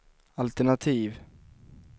altenativ